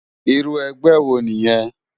Irú ègbè wó niyèn?